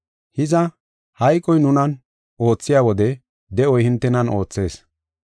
Hiza, hayqoy nunan oothiya wode de7oy hintenan oothees.